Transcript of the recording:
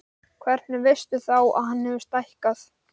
Hvernig veistu þá að hann hefur stækkað?